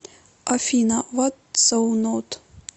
афина вот соу нот